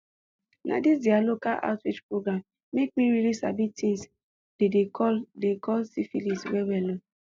na this their local outreach program make me really sabi things they dey call dey call syphilis well well oo